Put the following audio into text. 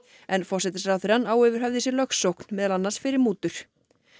en forsætisráðherrann á yfir höfði sér lögsókn meðal annars fyrir mútur